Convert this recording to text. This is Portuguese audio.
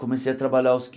Comecei a trabalhar aos